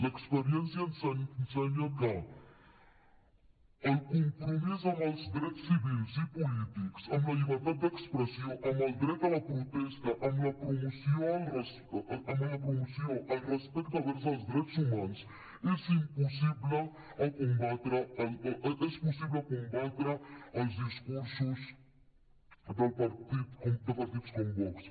l’experiència ens ensenya que el compromís amb els drets civils i polítics amb la llibertat d’expressió amb el dret a la protesta amb la promoció i el respecte vers els drets humans és possible combatre els discursos de partits com vox